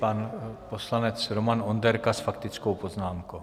Pan poslanec Roman Onderka s faktickou poznámkou.